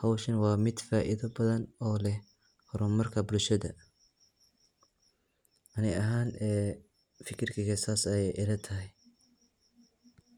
howshan waa mid faaido badhan oo leh hormarka bulshada. Ani ahaan fikirkeyga saas ay ilatahy.